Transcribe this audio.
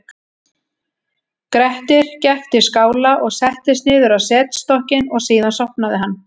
grettir gekk til skála og settist niður á setstokkinn og síðan sofnaði hann